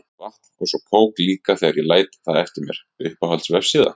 Vatn og svo kók líka þegar ég læt það eftir mér Uppáhalds vefsíða?